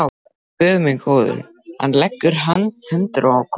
Ó, Guð minn góður, hann leggur hendur á konur.